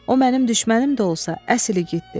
O mənim düşmənim də olsa, əsil igiddir.